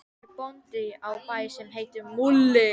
Hann er bóndi á bæ sem heitir Múli.